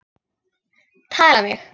Tæla mig!